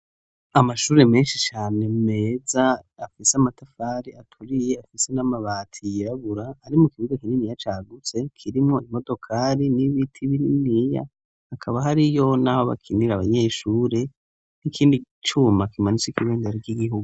Amashure menshi cane meza, afise amatafari aturiye, afise n'amabati yirabura ari mu kibuga kininiya cagutse kirimwo imodokari n'ibiti bininiya, hakaba hariyo n'aho bakinira abanyeshure, n'ikindi cuma kimanitseko ibendera ry'igihugu.